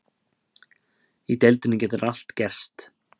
Í deildinni getur allt gerst.